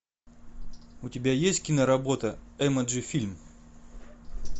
у тебя есть киноработа эмоджи фильм